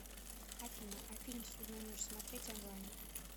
афина а фильм ссудная ночь смотреть онлайн